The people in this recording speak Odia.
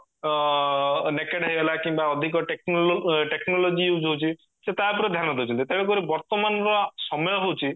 ଅ କିମ୍ବା ଅଧିକ technology use ହଉଚି ସେ ତା ଉପରେ ଧ୍ୟାନ ଦଉଚନ୍ତି ତେଣୁ କରି ବର୍ତମାନର ସମୟ ହଉଚି